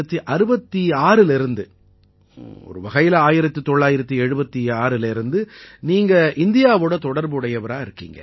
1966லேர்ந்து ஒரு வகையில 1976லேர்ந்து நீங்க இந்தியாவோட தொடர்பு உடையவரா இருக்கீங்க